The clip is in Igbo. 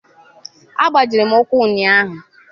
Agbajiri m ụkwụ ụnyaahụ.